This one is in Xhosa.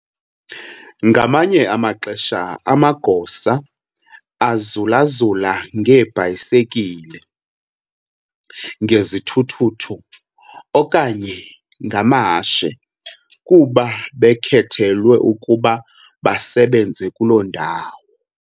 ngamanye amaxesha amagosa azulazula ngeebhayisikili, ngezithuthuthu, okanye ngamahashe kuba bakhethelwe ukuba basebenze kuloo ndawo.